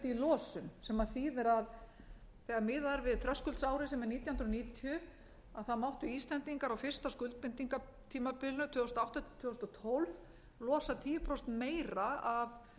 í losuðu sem þýðir að þegar miðað er við þröskuldsárið sem er nítján hundruð níutíu máttu íslendingar á fyrsta skuldbindingatímabilinu tvö þúsund og átta til tvö þúsund og tólf losa tíu prósentum meira af